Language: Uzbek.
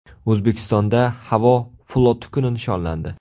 O‘zbekistonda havo floti kuni nishonlandi.